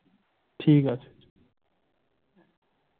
ঠিক আছে।